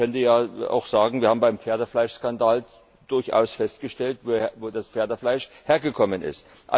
Denn man könnte ja auch sagen, wir haben beim Pferdefleischskandal durchaus festgestellt, wo das Pferdefleisch hergekommen ist.